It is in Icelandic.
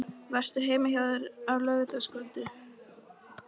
Varstu heima hjá þér á laugardagskvöldið?